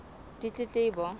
ditletlebo